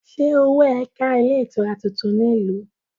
Ṣé owó ẹ ká ilé-itura tuntun ní ìlú?